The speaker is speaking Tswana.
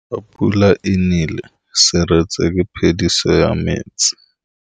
Fa pula e nelê serêtsê ke phêdisô ya metsi.